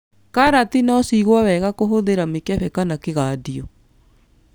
Karati no cigwo wega kũhũthĩra mĩkebe kana kũgandio.